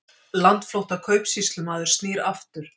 Landflótta kaupsýslumaður snýr aftur